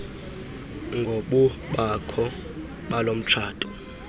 ngobukho balo mtshato